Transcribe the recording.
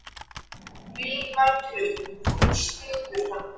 Lillý Valgerður: Þú styður hann?